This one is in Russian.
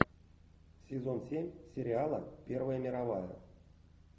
сезон семь сериала первая мировая